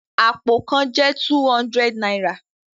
Apó kàn jẹ two hundred náírà